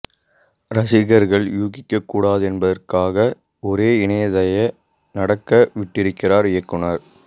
ரசிகர்கள் யூகிக்கக் கூடாது என்பதற்காக ஒரு இணைக்கதையை நடக்க விட்டிருக்கிறார் இயக்குனர்